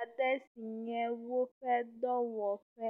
aɖe si nye woƒe dɔwɔƒe.